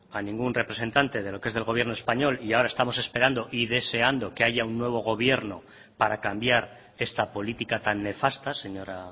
a ningún representante de lo que es el gobierno español y ahora estamos esperando y deseando que haya un nuevo gobierno para cambiar esta política tan nefasta señora